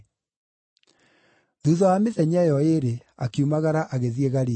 Thuutha wa mĩthenya ĩyo ĩĩrĩ, akiumagara agĩthiĩ Galili.